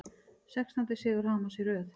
Sextándi sigur Hamars í röð